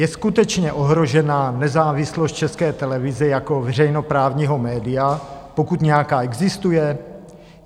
Je skutečně ohrožena nezávislost České televize jako veřejnoprávního média, pokud nějaká existuje?